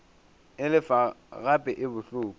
e lefa gape e bohloko